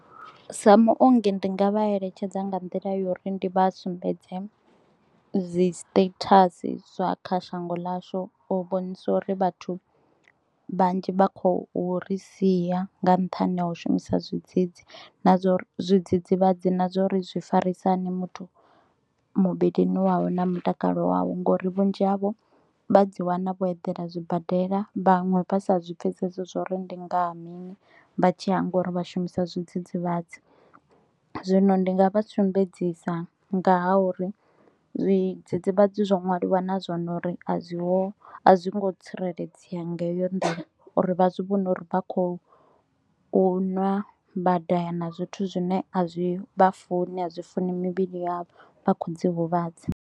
Sa muongi ndi nga vha eletshedza nga nḓila ya uri ndi vha sumbedze dzi status zwa kha shango ḽashu u vhonisa uri vhathu vhanzhi vha khou ri sia nga nṱhani ha u shumisa zwidzidzi na zwori zwidzidzivhadzi, na zwa uri zwi farisa hani muthu muvhilini wawe na mutakalo wawe ngori vhunzhi havho vha dzi wana vho edela zwibadela vhaṅwe vha sa zwi pfhesesi zwo ri ndi ngani. Vha tshi hangwa uri vha shumisa zwidzidzivhadzi zwino ndi nga vha sumbedzisa nga ha uri zwidzidzivhadzi zwo ṅwaliwa nazwone uri a zwi ho a zwi ngo tsireledzea nga heyo nḓila uri vha zwi vhone uri vha kho u ṅwa vha daha na zwithu zwine a zwi vha funi a zwi funi mivhili yavho vha kho dzi huvhadza.